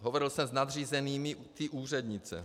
Hovořil jsem s nadřízenými té úřednice.